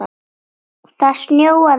Það snjóaði inn.